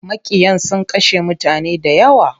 Maƙiyan sun kashe mutane dayawa.